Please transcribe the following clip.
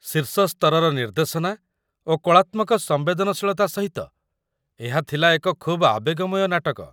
ଶୀର୍ଷ ସ୍ତରର ନିର୍ଦ୍ଦେଶନା ଓ କଳାତ୍ମକ ସମ୍ବେଦନଶୀଳତା ସହିତ ଏହା ଥିଲା ଏକ ଖୁବ୍ ଆବେଗମୟ ନାଟକ।